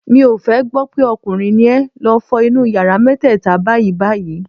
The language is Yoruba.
Mi ò fẹ́ gbọ́ pé ọkùnrin ni ẹ, lọ fọ nu yàrá mẹ́tẹ́ẹ̀ta báyìí-báyìí.